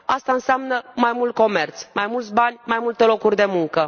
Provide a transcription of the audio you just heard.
Asta înseamnă mai mult comerț, mai mulți bani, mai multe locuri de muncă.